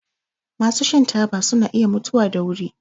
Masu shan taba suna iya mutuwa da wuri.